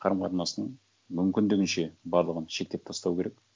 қарым қатынастың мүмкіндігінше барлығын шектеп тастау керек